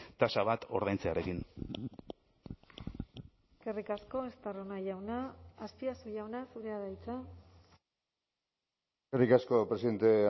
tasa bat ordaintzearekin eskerrik asko estarrona jauna azpiazu jauna zurea da hitza eskerrik asko presidente